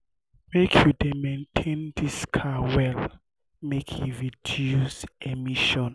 make you dey maintain dis car well make e reduce emission.